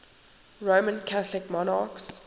roman catholic monarchs